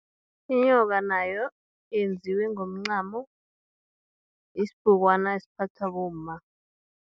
Inyoka, nayo yenziwe ngomncamo, yisibhukwana esiphathwa bomma.